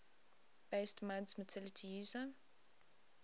based muds multi user